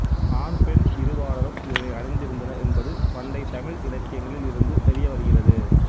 ஆண் பெண் இரு பாலாரும் இதனை அணிந்திருந்தனர் என்பது பண்டைத்தமிழ் இலக்கியங்களில் இருந்து தெரியவருகிறது